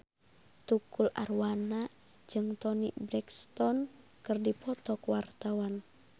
Tukul Arwana jeung Toni Brexton keur dipoto ku wartawan